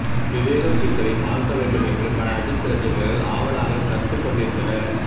விவேகம் டீஸரை பார்க்க வேண்டும் என்று பல அஜித் ரசிகர்கள் ஆவலாக கர்த்துக்கொண்டிருந்தனர்